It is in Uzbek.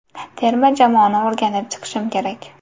Terma jamoani o‘rganib chiqishim kerak.